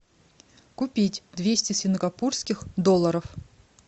купить двести сингапурских долларов